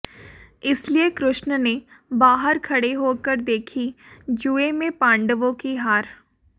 इसलिए कृष्ण ने बाहर खड़े होकर देखी जुए में पांडवों की हार